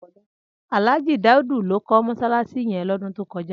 Alhaji Daudu ló kò mọṣalaṣi yèn lòdún tókòjá